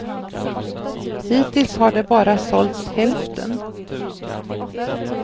Hittills har det bara sålts hälften.